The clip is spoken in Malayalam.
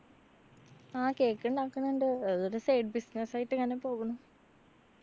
ആ cake ണ്ടാക്കണ്ണ്ട്. അതൊരു side business യിട്ട്‌ ഇങ്ങനെ പോകുന്നു.